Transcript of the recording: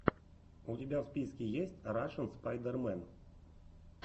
у тебя в списке есть рашн спайдермен